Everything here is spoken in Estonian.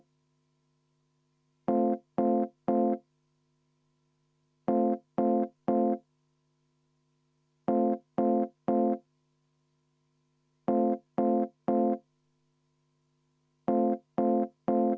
Mul on väga kahju, et siit saalist kostis hõikeid, et ei vabanda.